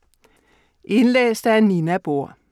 Indlæst af: